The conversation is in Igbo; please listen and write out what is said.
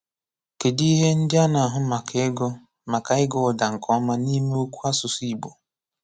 Kedu ihe ndị a na-ahụ maka ịgụ maka ịgụ ụ̀dà nke ọma n’ime okwu n’asụsụ Igbo?